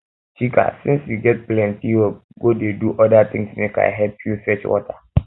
chika since um you um get plenty work go dey do other things make i help you fetch water um